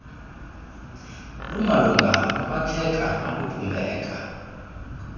lumalunga nokwakheka nokubumbeka